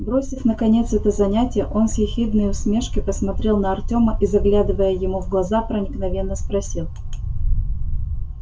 бросив наконец это занятие он с ехидной усмешкой посмотрел на артема и заглядывая ему в глаза проникновенно спросил